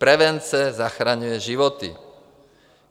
Prevence zachraňuje životy.